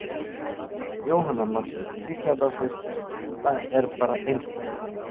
Jóhanna Margrét Gísladóttir: Það er bara einstakt?